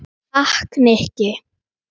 Takk, Nikki